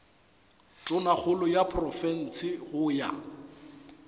tonakgolo ya profense go ya